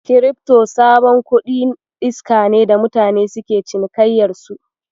Kirifto sabon kuɗin iska ne da mutane suke cinikayyar su.